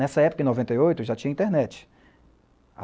Nessa época, em noventa e oito, já tinha internet.